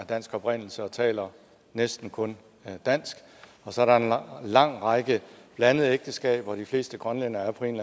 dansk oprindelse og taler næsten kun dansk og så er der en lang lang række blandede ægteskaber de fleste grønlændere er på en